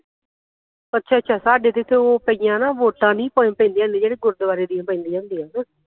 ਅੱਛਾ ਅੱਛਾ ਸਾਡੇ ਤੇ ਇਥੇ ਉਹ ਪਾਈਆਂ ਨਾ ਉਹ ਵੋਟਾਂ ਨੀ ਪੈਂਦੀਆਂ ਹੁੰਦੀਆਂ ਜਿਹੜੀਆਂ ਗੁਰਦਵਾਰੇ ਦੀਆਂ ਪੈਂਦੀਆਂ ਹੁੰਦੀਆਂ ਨਾ